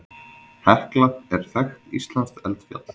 Hekla er þekkt íslenskt eldfjall.